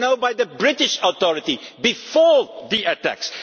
They were known by the British authorities before the attacks.